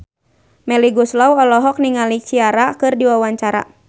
Melly Goeslaw olohok ningali Ciara keur diwawancara